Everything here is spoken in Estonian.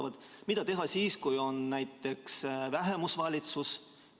Või mida teha siis, kui on näiteks vähemusvalitsus?